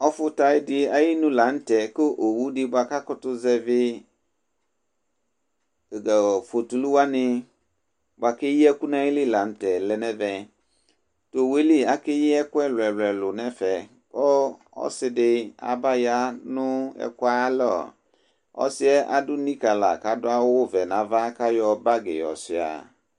Ɔfʋta dɩ ayinu la nʋ tɛ kʋ owu dɩ bʋa ka kʋtʋ zɛvɩ tatʋ fotulu wanɩ bʋa keyi ɛkʋ nayili la nʋ tɛ lɛ nɛvɛTowue li akeyi ɛkʋ ɛlʋɛlʋ nɛfɛ ,ɔ,ɔsɩ dɩ aba ya nʋ ɛkʋ ayalɔƆsɩɛ adʋ nikǝ la kadʋ awʋ vɛ nava kʋ ayɔ bagɩ yɔ sʋɩa